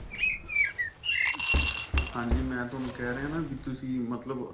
ਹਾਂਜੀ ਮੈਂ ਤੁਹਾਨੂੰ ਕਹਿ ਰਹਿਆ ਨਾ ਵੀ ਤੁਸੀਂ ਮਤਲਬ